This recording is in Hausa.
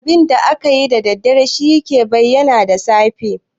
Abinda akayi da daddare shi yake bayyana da safe.